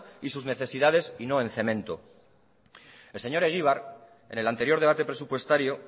y sus necesidades y no el cemento el señor egibar en el anterior debate presupuestario